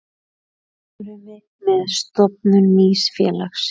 Samruni með stofnun nýs félags.